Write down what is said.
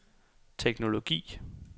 teknologi